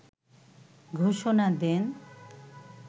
ঘোষণা দেন